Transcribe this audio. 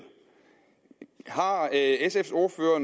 har har sfs ordfører